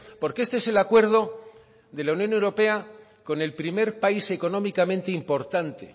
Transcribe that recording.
porque este es el acuerdo de la unión europea con el primer país económicamente importante